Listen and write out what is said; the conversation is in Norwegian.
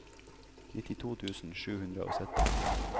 nittito tusen sju hundre og sytti